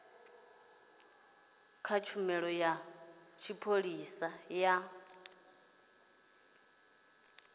kha tshumelo ya tshipholisa ya